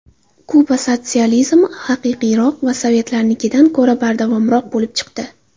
Kuba sotsializmi haqiqiyroq va sovetlarnikidan ko‘ra bardavomroq bo‘lib chiqdi.